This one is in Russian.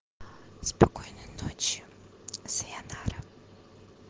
спокойной ночи сайонара